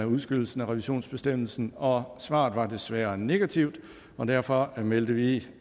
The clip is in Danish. udskydelsen af revisionsbestemmelsen og svaret var desværre negativt derfor meldte vi